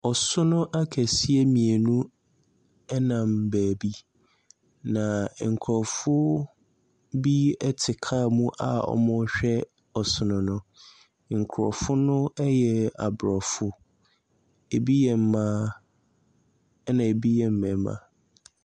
Asono akɛseɛ mmienu nam baabi, na nkurɔfoɔ bi te kaa mu a wɔrehwɛ asono no. Nkurɔfo no yɛ Aborɔfo, ɛbi yɛ mma, ɛna ɛbi yɛ mmarima.